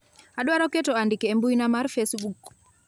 adwaro keto andike e mbui mar facebook